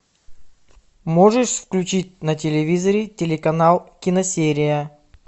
можешь включить на телевизоре телеканал киносерия